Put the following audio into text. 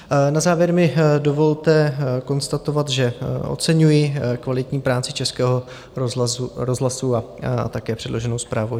Na závěr mi dovolte konstatovat, že oceňuji kvalitní práci Českého rozhlasu a také předloženou zprávu.